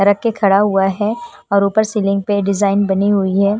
रख के खड़ा हुआ है और ऊपर सीलिंग पे डिजाइन बनी हुई है।